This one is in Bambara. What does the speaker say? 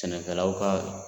Sɛnɛkɛlawl ka